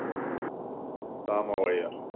Samóaeyjar